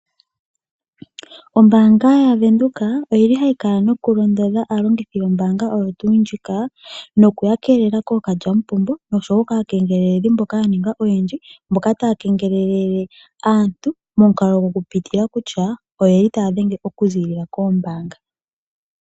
Ombaanga ya Windhoek oyili hayi kala noku londodha aalongithi yombaanga oyo tuu ndjika noku yakeelela kookalyampombo noshowo kaa kengleledhi mboka yaninga oyendji mboka taa kengelele aantu momukalo gokupitila kutya oyeli taadhenge oku ziilila kombaanga.